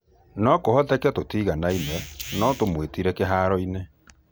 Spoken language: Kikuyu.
Nokũhoteke tũtiganaine no notũmwitirie kĩharoinĩ.